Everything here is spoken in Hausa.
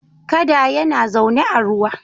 Kada yana zaune a ruwa.